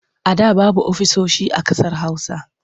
A da babu ofisoshi a ƙasar Hausa.